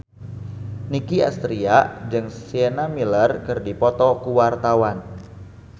Nicky Astria jeung Sienna Miller keur dipoto ku wartawan